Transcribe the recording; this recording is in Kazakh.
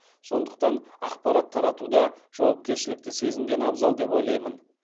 сондықтан ақпарат таратуда жауапкершілікті сезінген абзал деп ойлаймын